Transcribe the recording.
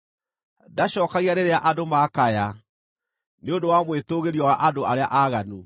Ndacookagia rĩrĩa andũ maakaya nĩ ũndũ wa mwĩtũũgĩrio wa andũ arĩa aaganu.